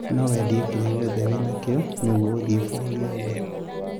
No wendia kĩria kĩothe wĩ nakĩo nĩgũo gũthii bũrũri ũngĩ?